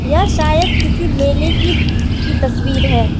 यह शायद किसी मेले की की तस्वीर है।